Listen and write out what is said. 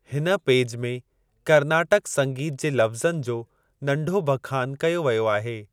हिन पेज में कर्नाटक संगीत जे लफ्ज़नि जो नंढो बखान कयो वयो आहे।